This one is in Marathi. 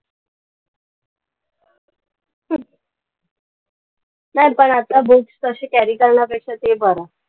नाई पण आता books असे carry करण्यापेक्षा ते बरं.